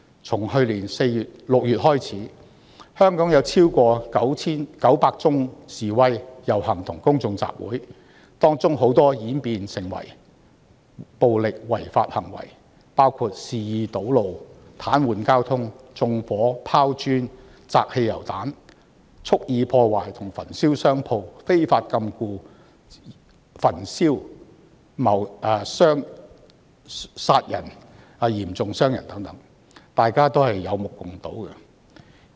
自去年6月開始，香港已有超過 9,900 次示威、遊行和公眾集會，當中很多均演變成為暴力違法行為，包括肆意堵路、癱瘓交通、縱火、拋磚、擲汽油彈、蓄意破壞和焚燒商鋪、非法禁錮、殺人及嚴重傷人等，大家都有目共睹。